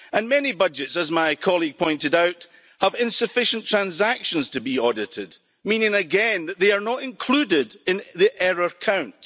Many budgets, as my colleague pointed out, have insufficient transactions to be audited, meaning again that they are not included in the error count.